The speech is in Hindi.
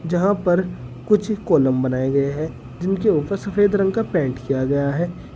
यहां पर कुछ कॉलम बनाए गए हैं जिनके ऊपर सफेद रंग का पेंट किया गया है।